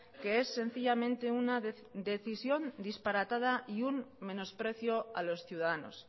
que es sencillamente una decisión disparatada y un menosprecio a los ciudadanos